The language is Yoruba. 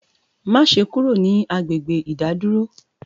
Maṣe kúrò ní agbègbè ìdádúró!